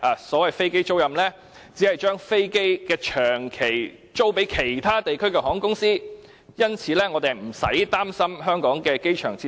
所謂飛機租賃，只是把飛機長期租予其他地區的航空公司，因此，我們不用擔心香港的機場設施。